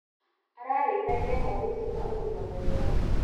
Ararĩithagia ngondu cina ũgima mwega.